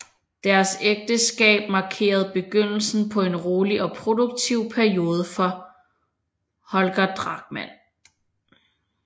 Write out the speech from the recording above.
Deres ægteskab markerede begyndelsen på en rolig og produktiv periode for Holger Drachmann